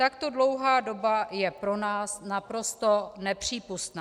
Takto dlouhá doba je pro nás naprosto nepřípustná.